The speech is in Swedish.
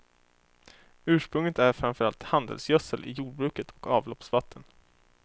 Ursprunget är framför allt handelsgödsel i jordbruket och avloppsvatten.